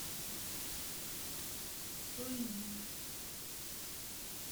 суйнин